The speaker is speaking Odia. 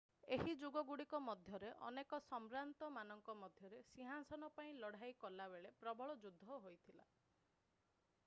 ଏହି ଯୁଗଗୁଡିକ ମଧ୍ୟରେ ଅନେକ ସମ୍ଭ୍ରାନ୍ତ ମାନଙ୍କ ମଧ୍ୟରେ ସିଂହାସନ ପାଇଁ ଲଢାଇ କଲାବେଳେ ପ୍ରବଳ ଯୁଦ୍ଧ ହୋଇଥିଲା